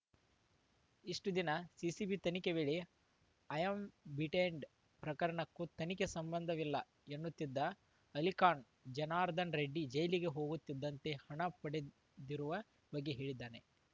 ಇಷ್ಟುದಿನ CCB ತನಿಖೆ ವೇಳೆ Ambidant ಪ್ರಕರಣಕ್ಕೂ ತನಗೂ ಸಂಬಂಧವಿಲ್ಲ ಎನ್ನುತ್ತಿದ್ದ ಅಲಿಖಾನ್‌ ಜನಾರ್ದನರೆಡ್ಡಿ ಜೈಲಿಗೆ ಹೋಗುತ್ತಿದ್ದಂತೆ ಹಣ ಪಡೆದಿರುವ ಬಗ್ಗೆ ಹೇಳಿದ್ದಾನೆ